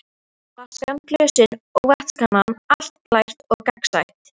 Flaskan, glösin og vatnskannan, allt glært og gagnsætt.